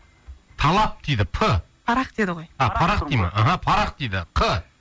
талап дейді п парақ деді ғой а парақ дей ма мхм парақ дейді қ